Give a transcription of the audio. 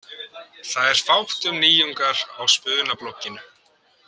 Það er fátt um nýjungar á spunablogginu.